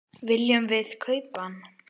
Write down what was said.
Viljum við kaupa hann?